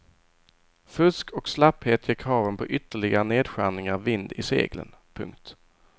Fusk och slapphet ger kraven på ytterligare nedskärningar vind i seglen. punkt